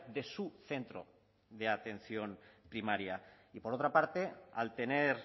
de su centro de atención primaria y por otra parte al tener